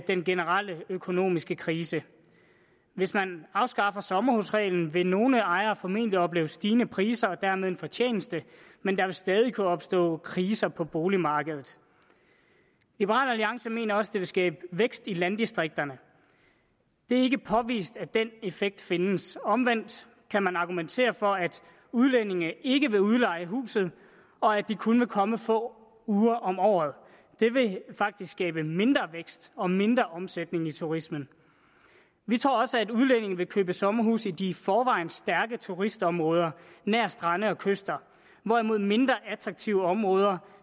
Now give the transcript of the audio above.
den generelle økonomiske krise hvis man afskaffer sommerhusreglen vil nogle ejere formentlig opleve stigende priser og dermed en fortjeneste men der vil stadig kunne opstå kriser på boligmarkedet liberal alliance mener også det vil skabe vækst i landdistrikterne det er ikke påvist at den effekt findes omvendt kan man argumentere for at udlændinge ikke vil udleje huset og at de kun vil komme få uger om året det vil faktisk skabe mindre vækst og mindre omsætning i turismen vi tror også at udlændinge vil købe sommerhuse i de i forvejen stærke turistområder nær strande og kyster hvorimod mindre attraktive områder